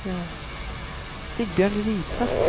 Sigbjørn Riise